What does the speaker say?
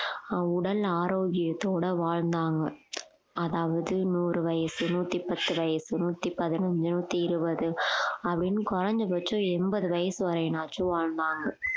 ஆஹ் உடல் ஆரோக்கியத்தோட வாழ்ந்தாங்க அதாவது நூறு வயசு நூத்தி பத்து வயசு நூத்தி பதினஞ்சு நூத்தி இருபது அப்படின்னு குறைஞ்சபட்சம் எண்பது வயசு வரையினாச்சும் வாழ்ந்தாங்க